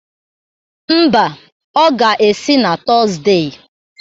Mba, ọ ga-esi na Tọzde.